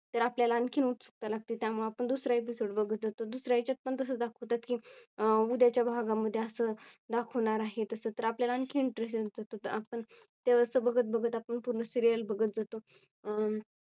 तर आपल्याला आणखीन उत्सुकता लागते. त्यामुळे आपण दुसरा Episode बघत असतो. दुसऱ्या ह्याच्यात पण तसं दाखवतात की उद्याच्या भागा मध्ये असं दाखवणार आहे. तसं तर आपल्या ला आणखीन Interest तर आपण तेव्हाच तर बघत बघत आपण पूर्ण सिरियल बघत जातो.